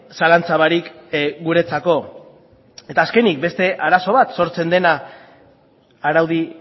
zalantza barik guretzako eta azkenik beste arazo bat sortzen dena araudi